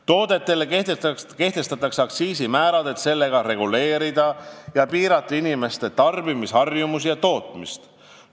Toodetele kehtestatakse aktsiisimäärad, et sellega reguleerida ja piirata inimeste tarbimisharjumusi ja tootmist.